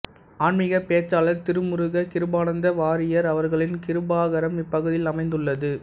ஆன்மிக பேச்சாளர் திருமுருக கிருபானந்த வாரியார் அவர்களின் கிருபாகரம் இப்பகுதியில் அமைந்துள்ளது